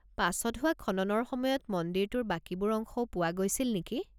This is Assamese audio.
পাছত হোৱা খননৰ সময়ত মন্দিৰটোৰ বাকীবোৰ অংশও পোৱা গৈছিল নেকি?